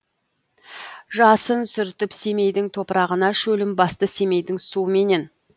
жасын сүртіп семейдің топырағына шөлін басты семейдің суыменен